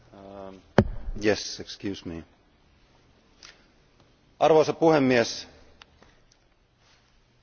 Arvoisa puhemies, Ingeborg Grässlen mietintö olisi pitänyt hyväksyä.